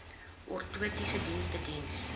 ortotiese dienste diens